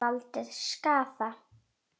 Gætu valdið skaða.